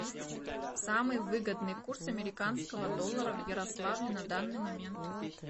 самый выгодный курс американского доллара в ярославле на данный момент